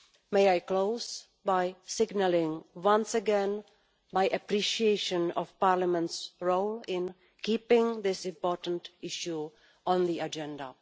May I close by signalling once again my appreciation of Parliament's role in keeping this important issue on the agenda.